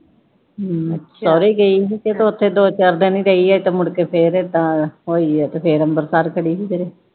ਹਮ ਅੱਛਾ, ਸਹੁਰੇ ਗਈ ਹੀ ਤੇ ਉਥੇ ਦੋ ਚਾਰ ਦਿਨ ਗਈ ਏ ਤੇ ਮੁੜਕੇ ਫਿਰ ਏਦਾਂ ਹੋਈ ਏ ਤੇ ਫਿਰ ਅੰਬਰਸਰ ਖੜੀ ਹੀ ਫਿਰ